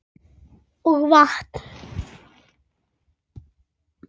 Og vatn.